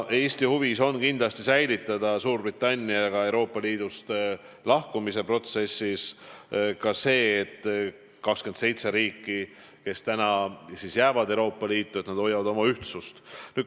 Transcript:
Eesti huvi on kindlasti see, et Suurbritannia Euroopa Liidust lahkumise protsessis 27 Euroopa Liitu jääva riigi ühtsus püsiks.